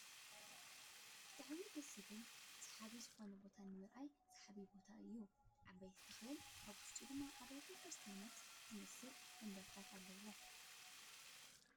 ብጣዕሚ ደስ ዝብል ስሓቢ ዝኮነ ቦታ ንምርኣዩ ስሓቢ ቦታ እዩ። ዓበይቲ ተክልን ኣብ ውሽጡ ድማ ኣብያተ ቤተ ክርስትይን ዝመስል መንበርታት ኣለው።